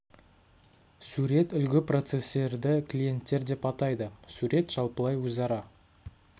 сурет үлгі процестерді клиенттер деп атайды сурет жалпылай өзара